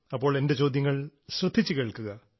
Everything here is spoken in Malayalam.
അപ്പോൾ എന്റെ ചോദ്യങ്ങൾ ശ്രദ്ധിച്ചു കേൾക്കുക